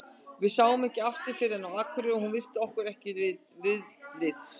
Við sáum hana ekki aftur fyrr en á Akureyri og hún virti okkur ekki viðlits.